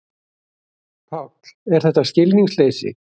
Páll: Er þetta skilningsleysi?